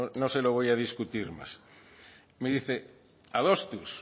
no se lo voy a discutir más me dice adostuz